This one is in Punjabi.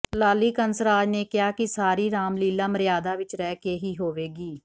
ਲਾਲੀ ਕੰਸਰਾਜ ਨੇ ਕਿਹਾ ਕਿ ਸਾਰੀ ਰਾਮਲੀਲਾ ਮਰਿਯਾਦਾ ਵਿਚ ਰਹਿ ਕੇ ਹੀ ਹੋਵੇਗੀ